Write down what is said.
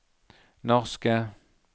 norske